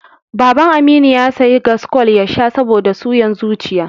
Baban Aminu ya sayi gaskool ya sha saboda suyan zuciya.